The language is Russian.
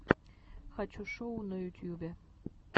хочу шоу на ютьюбе